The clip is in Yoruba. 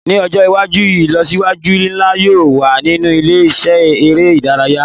Ni ọjọ iwaju ilọsiwaju nla yoo wa ninu ile-iṣẹ ere idaraya